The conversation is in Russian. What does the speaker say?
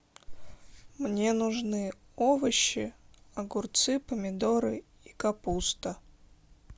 мне нужны овощи огурцы помидоры и капуста